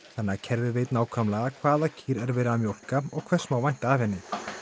þannig að kerfið veit nákvæmlega hvaða kýr er verið að mjólka og hvers má vænta af henni